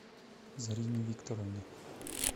зарине викторовне